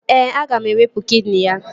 Ee, aga m ewepu kidini ya